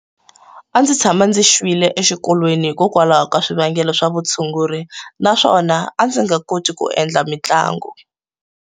A ndzi tshama ndzi xwile exikolweni hikokwalaho ka swivangelo swa vutshunguri naswona a ndzi nga koti ku endla mitlangu.